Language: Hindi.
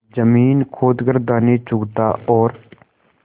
जमीन खोद कर दाने चुगता और